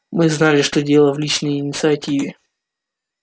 мы знали что дело в личной инициативе